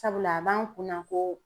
Sabula a b'an kunna ko